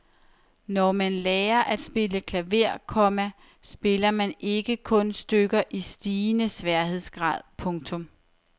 Når man lærer at spille klaver, komma spiller man ikke kun stykker i stigende sværhedsgrad. punktum